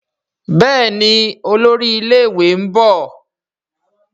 Béèni Olórí ilé ìwé nbọ.